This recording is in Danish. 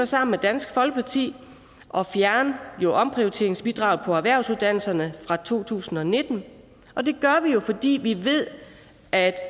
sammen med dansk folkeparti at fjerne omprioriteringsbidraget på erhvervsuddannelserne fra to tusind og nitten og det gør vi fordi vi ved at